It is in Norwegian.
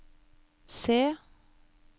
C